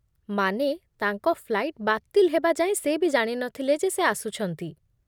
ମାନେ, ତାଙ୍କ ଫ୍ଲାଇଟ୍ ବାତିଲ୍ ହେବା ଯାଏଁ ସେ ବି ଜାଣି ନଥିଲେ ଯେ ସେ ଆସୁଛନ୍ତି ।